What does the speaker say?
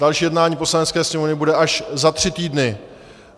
Další jednání Poslanecké sněmovny bude až za tři týdny.